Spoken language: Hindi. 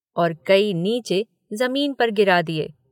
और कई नीचे ज़मीन पर गिरा दिए।